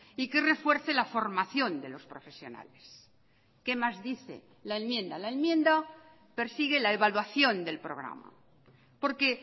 y que refuerce la formación de los profesionales qué más dice la enmienda la enmienda persigue la evaluación del programa porque